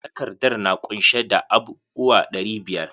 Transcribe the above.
Takardar na kunshe da abub uwa ɗari biyar.